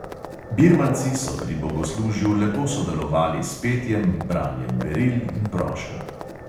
Birmanci so pri bogoslužju lepo sodelovali s petjem, branjem beril in prošenj.